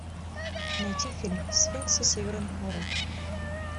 найти фильм сфинксы северных ворот